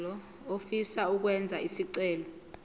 ofisa ukwenza isicelo